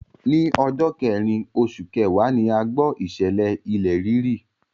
Ní ọjọ́ kẹrìn oṣù kẹwàá ni a gbọ́ ìṣẹ̀lẹ̀ ilẹ̀ rírì.